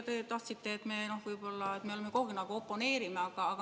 Te ütlesite, et me kogu aeg võib-olla oponeerime.